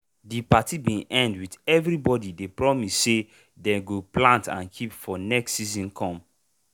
de party bin end with everybody dey promise say dey go plant and keep if next season come.